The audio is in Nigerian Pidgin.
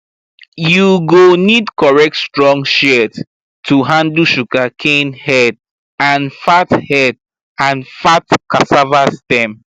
you go need correct strong shears to handle sugarcane head and fat head and fat cassava stem